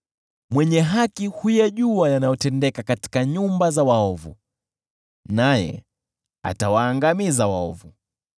Mwenye Haki huyajua yanayotendeka katika nyumba za waovu, naye atawaangamiza waovu.